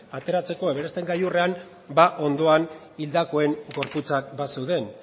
ateratzeko everesten gailurrean ba ondoan hildakoen gorputzak bazeuden